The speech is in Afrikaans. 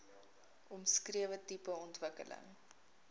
omskrewe tipe ontwikkeling